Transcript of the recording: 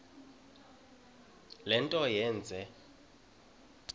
le nto yenze